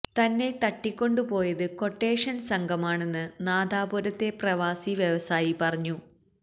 തന്നെ തട്ടിക്കൊണ്ടുപോയത് ക്വട്ടേഷന് സംഘമാണെന്ന് നാദാപുരത്തെ പ്രവാസി വ്യവസായി പറഞ്ഞു